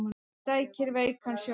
Sækir veikan sjómann